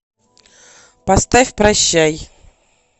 поставь прощай